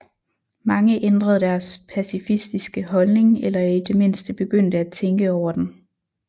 Mange ændrede deres pacifistiske holdning eller i det mindste begyndte at tænke over den